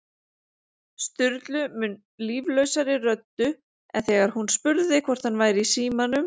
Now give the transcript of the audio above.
Sturlu mun líflausari röddu en þegar hún spurði hvort hann væri í símanum